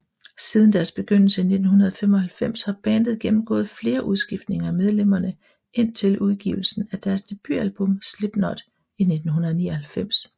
Siden deres begyndelse i 1995 har bandet gennemgået flere udskiftninger i medlemmerne indtil udgivelsen af deres debutalbum Slipknot i 1999